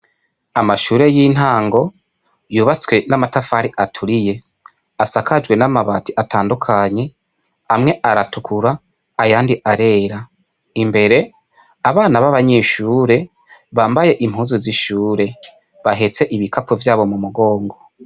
Amashure y'intango yubatswe n'amatafari aturiye, asakajwe n'amabati atandukanye , amwe aratukura ayandi arera. Imbere, abana babanyeshure bambaye impuzu z'ishure, bahetse ibikapo vyabo mu mugongo.